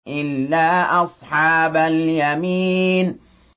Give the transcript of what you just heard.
إِلَّا أَصْحَابَ الْيَمِينِ